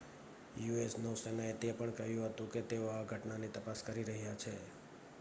US નૌસેનાએ તે પણ કહ્યું હતું કે તેઓ આ ઘટનાની તપાસ કરી રહ્યા છે